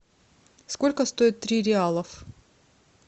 сколько стоит три реалов